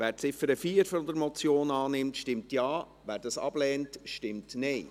Wer die Ziffer 4 der Motion annimmt, stimmt Ja, wer dies ablehnt, stimmt Nein.